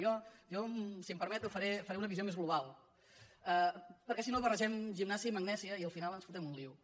jo si em permet faré una visió més global perquè si no barregem gimnàsia i magnèsia i al final ens fotem un embolic